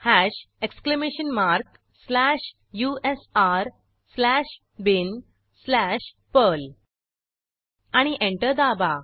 hash exclamation mark slash usr slash bin slash perl आणि enter दाबा